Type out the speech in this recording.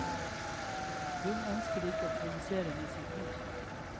Hun ønsker ikke å provosere med sin kunst.